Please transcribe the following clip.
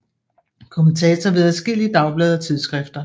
Kommentator ved adskillige dagblade og tidsskrifter